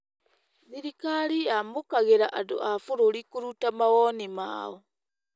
Thirikari yamũkagĩra andũ a bũrũri kũruta mawoni mao.